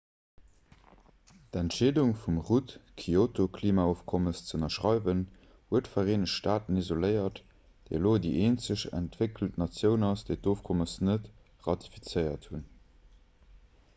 d'entscheedung vum rudd d'kyoto-klimaofkommes ze ënnerschreiwen huet d'vereenegt staaten isoléiert déi elo déi eenzeg entwéckelt natioun ass déi d'ofkommes net ratifizéiert huet